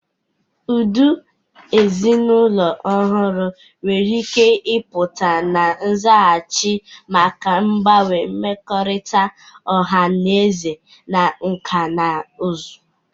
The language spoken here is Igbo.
Ụdị ezinụlọ ọhụrụ nwere ike ịpụta na nzaghachi maka mgbanwe mmekọrịta ọha na eze na nkà na ụzụ.